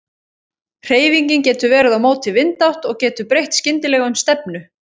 Hreyfingin getur verið á móti vindátt og getur breytt skyndilega um stefnu.